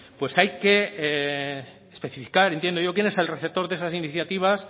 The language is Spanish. pues hay que especificar entiendo yo quién es receptor de esas iniciativas